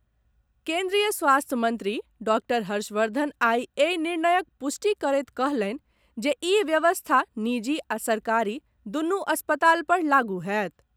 केन्द्रीय स्वास्थ्य मंत्री डॉक्टर हर्षवर्धन आइ एहि निर्णयक पुष्टि करैत कहलनि जे ई व्यवस्था निजी आ सरकारी दूनु अस्पताल पर लागू होयत।